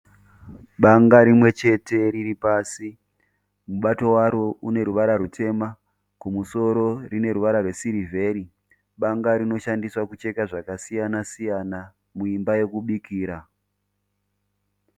Banga rimwechete riri pasi. Mubato waro uneruvara rwutema, kumusoro rine ruvara rwesiriveri. Banga rinoshandiswa kucheka zvakasiyana siyana muimba yekubikira.